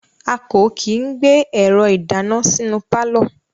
A ko kii gbe ẹrọ idana sinu paalọ